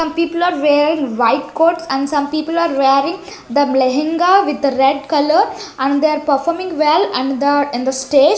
some people are wearing white coats and some people are wearing the lehenga with red colour and they are performing well and the and the stage --